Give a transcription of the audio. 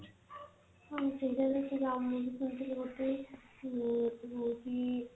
ହଁ ସେଇଟା ବି ସେଇଟା ଗୋଟେ ଊଁ ହଉଚି